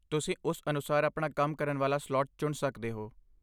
ਤੁਸੀਂ ਉਸ ਅਨੁਸਾਰ ਆਪਣਾ ਕੰਮ ਕਰਨ ਵਾਲਾ ਸਲਾਟ ਚੁਣ ਸਕਦੇ ਹੋ।